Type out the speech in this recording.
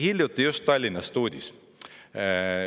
Hiljuti just Tallinnast uudis.